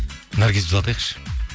наргизді жылатайықшы